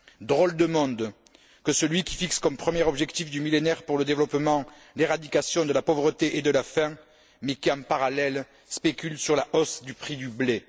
Drôle de monde que celui qui fixe comme premier objectif du Millénaire pour le développement l'éradication de la pauvreté et de la faim mais qui, en parallèle, spécule sur la hausse du prix du blé.